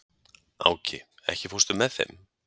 Áki, ekki fórstu með þeim?